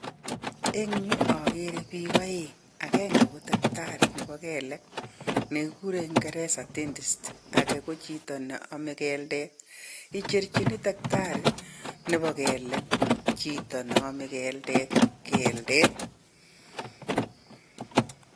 Eng yu agere bik aeng, agenge ko daktari nebo kelek ne kigurei eng kingeresa dentist. Age ko chito ne amei keldet, ichergin dakitari nebo kelek chito ne amei keldet keldet.